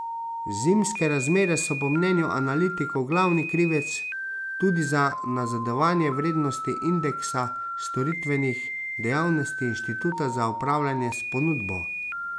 Zimske razmere so po mnenju analitikov glavni krivec tudi za nazadovanje vrednosti indeksa storitvenih dejavnosti inštituta za upravljanje s ponudbo.